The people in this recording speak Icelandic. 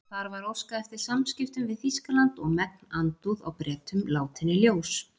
Þar var óskað eftir samskiptum við Þýskaland og megn andúð á Bretum látin í ljós.